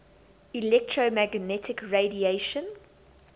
electromagnetic radiation